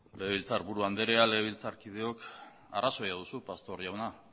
legebiltzarburu anderea legebiltzarkideok arrazoia duzu pastor jauna